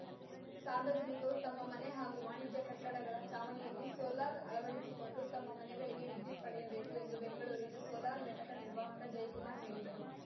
ಸಾರ್ವಜನಿಕರು ತಮ್ಮ ಮನೆ ಹಾಗೂ ವಾಣಿಜ್ಯ ಕಟ್ಟಡಗಳ ಚಾವಣಿಯಲ್ಲಿ ಸೋಲಾರ್‌ ಅಳವಡಿಸಿಕೊಂಡು ತಮ್ಮ ಮನೆಗಳಿಗೆ ವಿದ್ಯುತ್‌ ಪಡೆಯಬೇಕು ಎಂದು ಬೆಂಗಳೂರಿನ ಸೋಲಾರ್‌ ಘಟಕ ನಿರ್ವಾಹಕ ಜಯ್ ಕುಮಾರ್ ಹೇಳಿದರು